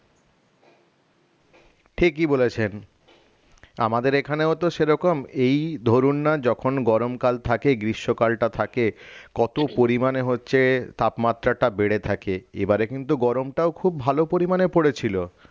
ঠিকই বলেছেন আমাদের এখানেও তো সেরকম এই ধরুননা যখন গরমকাল থাকে গ্রীষ্মকালটা থাকে কত পরিমানে হচ্ছে তাপমাত্রাটা বেড়ে থাকে এবারে কিন্তু গরমটাও খুব ভালো পরিমানে পড়েছিল